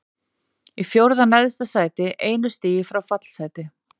Í fjórða neðsta sæti, einu stigi frá fallsæti.